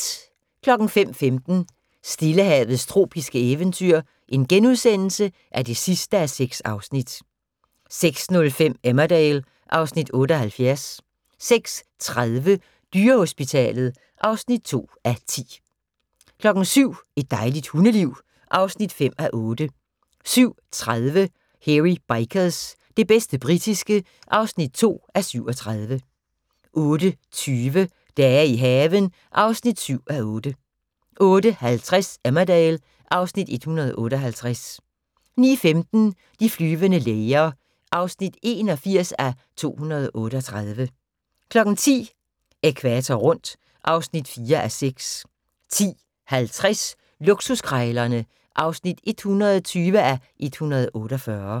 05:15: Stillehavets tropiske eventyr (6:6)* 06:05: Emmerdale (Afs. 78) 06:30: Dyrehospitalet (2:10) 07:00: Et dejligt hundeliv (5:8) 07:30: Hairy Bikers - det bedste britiske (2:37) 08:20: Dage i haven (7:8) 08:50: Emmerdale (Afs. 158) 09:15: De flyvende læger (81:238) 10:00: Ækvator rundt (4:6) 10:50: Luksuskrejlerne (120:148)